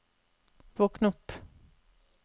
våkn opp